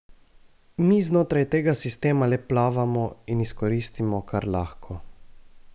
Mi znotraj tega sistema le plavamo in izkoristimo, kar lahko.